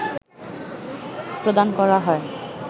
প্রদান করা হয়